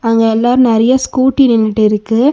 அங்க எல்லா நறியா ஸ்கூட்டி நின்னிட்டு இருக்கு.